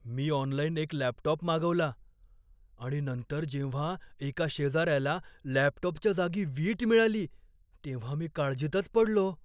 मी online एक laptop मागवला आणि नंतर जेव्हा एका शेजाऱ्याला लॅपटॉपच्या जागी वीट मिळाली तेव्हा मी काळजीतच पडलो.